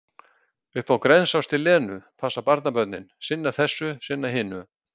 Upp á Grensás til Lenu, passa barnabörnin, sinna þessu, sinna hinu.